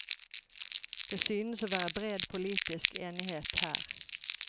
Det synes å være bred politisk enighet her.